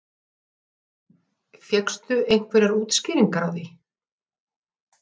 Viktoría Hermannsdóttir: Fékkstu einhverjar útskýringar á því?